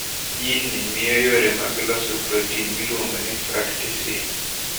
Jin ni miyo yore mag loso protin miluongo ni frataksin.